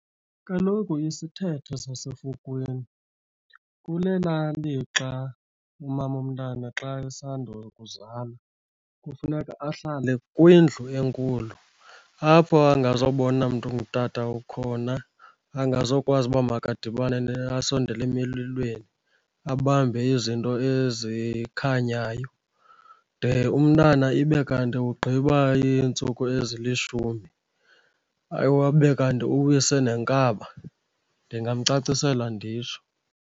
Kaloku isithethe sasefukwini kunelaa lixa umama womntana xa esandokuzala kufuneka ahlale kwindlu enkulu apha angazobona mntu ungutata ukhona, angazokwazi uba makadibane asondela emililweni, abambe izinto ezikhanyayo de umntana ibe kanti ugqiba iintsuku ezilishumi, abe kanti uwise nenkaba. Ndingamcacisela nditsho.